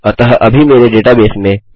अतः अभी मेरे डेटाबेस में